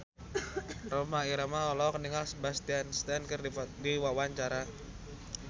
Rhoma Irama olohok ningali Sebastian Stan keur diwawancara